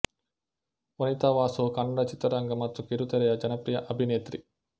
ವನಿತಾ ವಾಸು ಕನ್ನಡ ಚಿತ್ರರಂಗ ಮತ್ತು ಕಿರುತೆರೆಯ ಜನಪ್ರಿಯ ಅಭಿನೇತ್ರಿ